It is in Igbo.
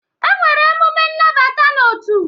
E nwere emume ịnabata n'otu.